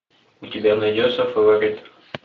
у тебя найдется фаворит